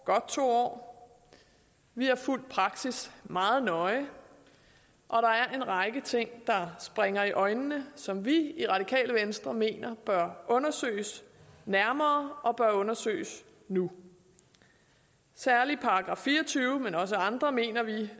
godt to år vi har fulgt praksis meget nøje og der er en række ting der springer i øjnene som vi i radikale venstre mener bør undersøges nærmere og bør undersøges nu særlig § fire og tyve men også andre mener vi